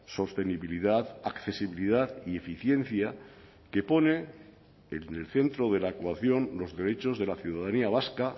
sostenibilidad accesibilidad y eficiencia que pone en el centro de la ecuación los derechos de la ciudadanía vasca